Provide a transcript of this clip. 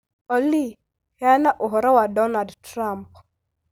Olly, heana ũhoro wa Donald Trump.